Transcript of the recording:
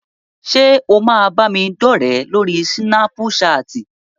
Ṣé o máa bámidọ́rẹ̀ẹ́ lórí súnápúṣaàtì?